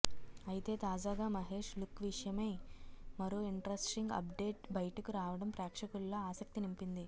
అయితే తాజాగా మహేష్ లుక్ విషయమై మరో ఇంట్రస్టింగ్ అప్డేట్ బయటకు రావడం ప్రేక్షకుల్లో ఆసక్తి నింపింది